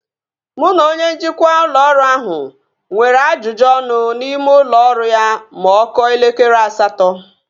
Mụ na onye njikwa ụlọ ọrụ ahụ nwere ajụjụ ọnụ n'ime ụlọ ọrụ ya ma ọ kụọ elekere asatọ